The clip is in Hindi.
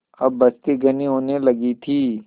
अब बस्ती घनी होने लगी थी